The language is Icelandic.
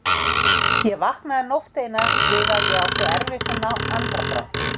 Ég vaknaði nótt eina við að ég átti erfitt um andardrátt.